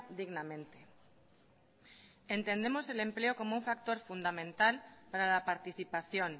dignamente entendemos el empleo como un factor fundamental para la participación